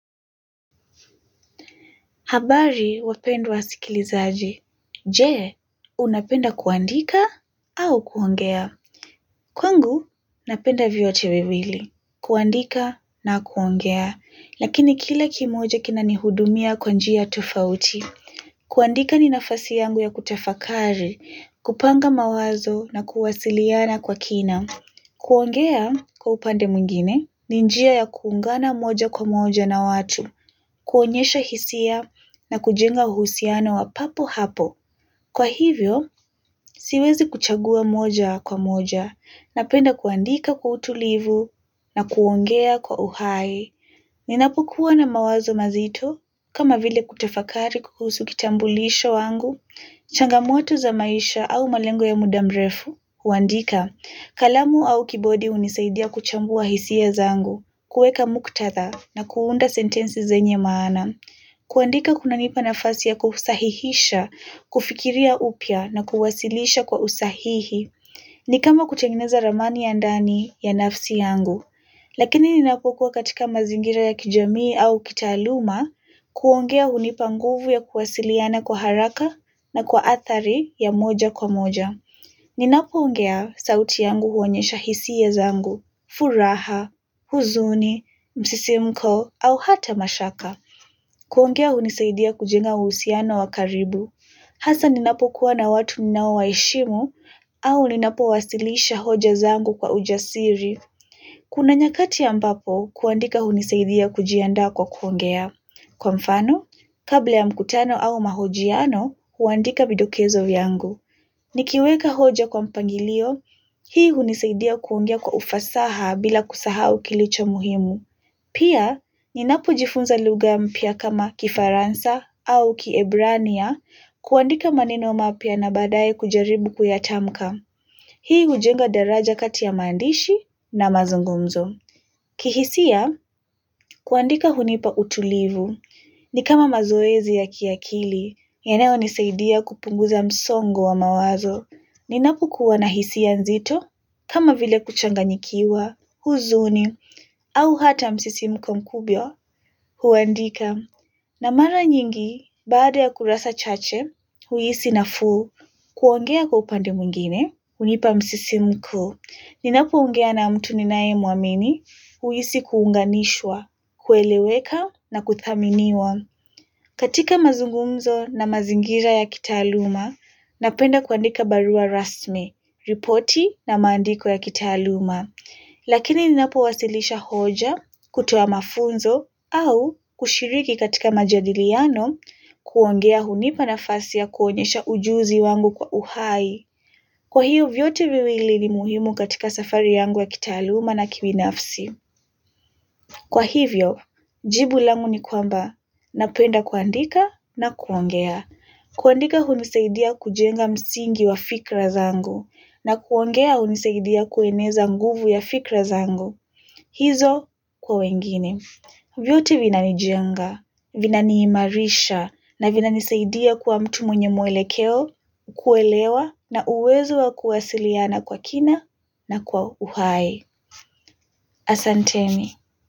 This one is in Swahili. Habari wapendwa wasikilizaji. Jee unapenda kuandika au kuongea. Kwengu napenda vyote viwili. Kuandika na kuongea lakini kila kimoja kina ni hudumia kwa njia tofauti. Kuandika ni nafasi yangu ya kutafakari kupanga mawazo na kuwasiliana kwa kina. Kuongea kwa upande muingine ni njia ya kuungana moja kwa moja na watu kuonyesha hisia na kujenga uhusiano wa papo hapo. Kwa hivyo, siwezi kuchagua moja kwa moja. Napenda kuandika kwa utulivu na kuongea kwa uhaye. Ninapokuwa na mawazo mazito kama vile kutafakari kuhusu kitambulisho wangu. Changamoto za maisha au malengo ya mudamrefu. Uandika, kalamu au kibodi unisaidia kuchambua hisia zangu. Kueka muktatha na kuunda sentensi zenye maana. Kuandika kunanipa nafasi ya kuhusahihisha, kufikiria upia na kuwasilisha kwa usahihi. Ni kama kutengeneza ramani ya ndani ya nafsi yangu. Lakini ninapokuwa katika mazingira ya kijamii au kitaluma. Kuongea hunipa nguvu ya kuwasiliana kwa haraka na kwa atari ya moja kwa moja. Ninapoongea sauti yangu huonyesha hisiya zangu. Furaha, huzuni, msisimko au hata mashaka. Kuongea unisaidia kujenga usiano wakaribu. Hasa ninapo kuwa na watu ninao waishimu au ninapo wasilisha hoja zangu kwa ujasiri. Kuna nyakati ambapo kuandika unisaidia kujianda kwa kuongea. Kwa mfano, kabla ya mkutano au mahojiano, huandika vidokezo viangu. Nikiweka hoja kwa mpangilio, hii unisaidia kuongea kwa ufasaha bila kusahau kilicho muhimu. Pia, ninapojifunza luga mpia kama kifaransa au kiebrania kuandika maneno maapia na badaye kujaribu kuyatamka. Hii ujenga daraja kati ya mandishi na mazungumzo. Kihisia, kuandika hunipa utulivu. Ni kama mazoezi ya kiakili, yeneonisaidia kupunguza msongo wa mawazo. Ninapokuwa na hisia nzito, kama vile kuchanganyikiwa, huzuni, au hata msisimko mkubyo. Huandika na mara nyingi baada ya kurasa chache huisi nafuu kuongea kwa upande mwingine unipa msisimko. Ninapo ungea na mtu ninaemuamini huisi kuunganishwa, kueleweka na kuthaminiwa. Katika mazungumzo na mazingira ya kitaaluma napenda kuandika barua rasmi, ripoti na mandiko ya kitaaluma. Lakini ninapo wasilisha hoja, kutowa mafunzo, au kushiriki katika majadiliano kuongea hunipa nafasi ya kuonyesha ujuzi wangu kwa uhai. Kwa hiyo vyote viwili ni muhimu katika safari yangu wa kitaluma na kibinafsi. Kwa hivyo, jibu langu ni kwamba napenda kuandika na kuongea. Kuandika huniseidia kujenga msingi wa fikra zangu na kuongea huniseidia kueneza nguvu ya fikra zangu. Hizo kwa wengine vyote vina nijenga, vina niimarisha na vina nisaidia kuwa mtu mwenye mwelekeo kuelewa na uwezo wa kuwasiliana kwa kina na kwa uhaye. Asanteni.